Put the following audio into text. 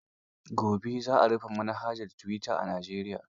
Gobe za a rufe manhajar tuwita a Najeriya.